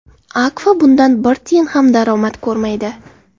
Akfa bundan bir tiyin ham daromad ko‘rmaydi.